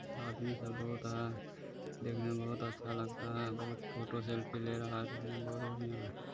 आदमी सब बहुत है देखने में बहुत अच्छा लगता है बहुत फ़ोटो सेल्फी ले रहा है देखने में बहुत बढ़िया है।